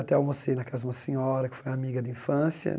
Até almocei na casa de uma senhora que foi amiga de infância.